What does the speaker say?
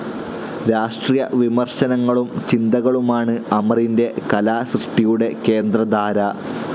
രാഷ്ട്രീയ വിമർശനങ്ങളും ചിന്തകളുമാണ് അമറിന്റെ കലാസൃഷ്ടിയുടെ കേന്ദ്രധാര.